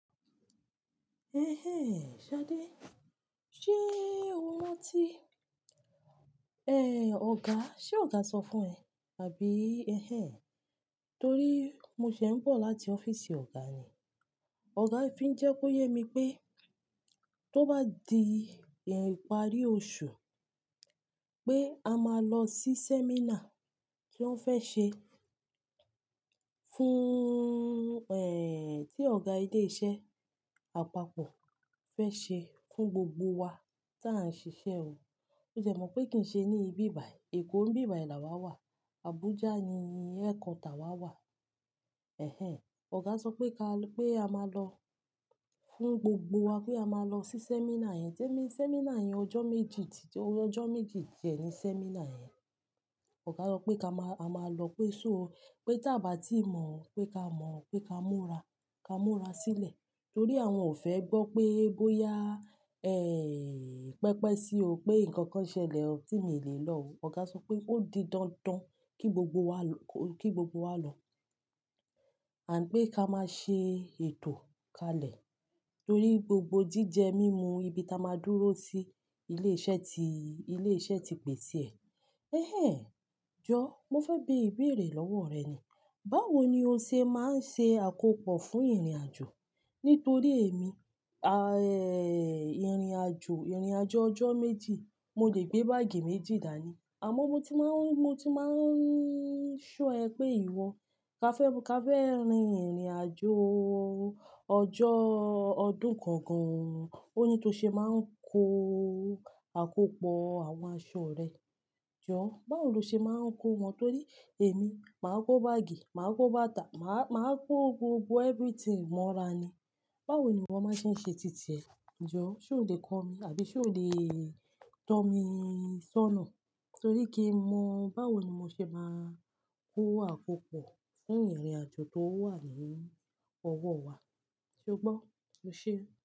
Ẹhẹ́n, Ṣadé. Ṣé o rántí ẹ, ọ̀gá, ṣe ọ̀gá sọ fún ẹ? Àbí, ẹhẹ́n. Torí mo ṣẹ̀ n bọ̀ láti ọ́fíìsì ọ̀gá ni. Ọ̀gá fi ń jẹ́ kó yé mi pé tó bá di ẹ̀yìnparí oṣù, pé a máa lọ sí sẹ́mínà tí wọ́n fẹ́ ṣe fún, ẹ́hìn, tí ọ̀gá ilé iṣẹ́ àpapọ̀ fẹ́ ṣe fún gbogbo wa tí à ń ṣiṣẹ́ o. Ó dẹ́ mọ̀ pé kì í ṣe ní ibi bàyìí. Èkó ń bí bàyìí làwàá wà. Abuja ni headquarter wa wà. Ẹhẹ́n, ọ̀gá sọ pé ká-- pé a máa lọ fún gbogbo wa, pé a máa lọ sí sẹ́mínà yẹn. Témi sẹ́mínà yẹn ọjọ́ méjì, tí jọ-- ọjọ́ méjì tiẹ ni sẹ́mínà yẹn. Ọ̀gá sọ pé ká máa, a máa lọ, pé ṣó, pé tí a bá tí mọ̀, pé ká mọ̀, pé ká múra, ká múra sílẹ̀. Torí àwọn ò fẹ́ gbọ́ pé bóyá, ẹ́hìn, pẹpẹ sí o pé nǹkan kan ṣẹlẹ̀ tí mì le lọ̀ o. Ọ̀gá sọ pé ó di dandan kí gbogbo wa lọ, kí gbogbo wa lọ. Àń pé ká máa ṣe ètò kalẹ̀. Torí gbogbo jíjẹ mímú ibi tí a máa dúró sí ilé iṣẹ́ tí, ilé iṣẹ́ ti pèsè ẹ̀. Ẹhẹ́n, jọ, mo fẹ́ bí ìbéèrè lọ́wọ́ rẹ ni. Báwo ni o ṣe má ń ṣe àkópọ̀ fún ìrìnàjò? Nítorí èmi, à, ẹ́h, ìrìnàjò, ìrìnàjò ọjọ́ méjì, mo lè gbé báàgì méjì dàní. Àmọ́ mo ti máa ń, mo ti máa ń ṣọ ẹ pé ìwọ ká fẹ́, ká fẹ́ rin ìrìnàjò ọjọ́ ọdún kan gan-an. Ó ní to ṣe máa ń kó àkópọ̀ àwọn aṣọ rẹ. Jọ, báwo lo ṣe máa ń kó wọn? Torí èmi, màá kó báàgì, màá kó bàtà, màá, màá kó gbogbo everything mọ́ra ni. Báwo ni iwọ máa ṣe ń ṣe títí ẹ? Jọ, ṣé o lè kọ́ mi àbí ṣé o lè tọ́ mi sọ́nà torí kí mọ̀ báwo ni mo ṣe máa kó àkópọ̀ fún ìrìnàjò tó wà nínú ọwọ́ wa. Ṣe o gbọ́? O ṣe.